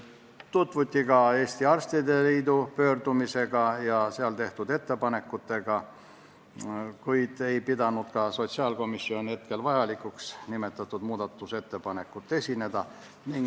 Tutvuti ka Eesti Arstide Liidu pöördumisega ja seal tehtud ettepanekuga, kuid sotsiaalkomisjon ei pidanud vajalikuks nimetatud muudatusettepanekut esitada.